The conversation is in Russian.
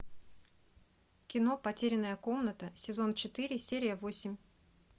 кино потерянная комната сезон четыре серия восемь